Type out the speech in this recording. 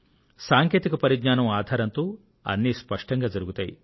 సాంకేతిక పరిజ్ఞానం ఆధారంతో అన్నీ స్పష్టంగా జరుగుతాయి